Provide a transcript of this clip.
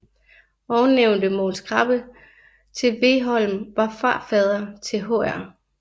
Ovennævnte Mogens Krabbe til Vegholm var farfader til hr